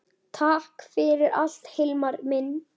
Takk fyrir allt Hilmar minn.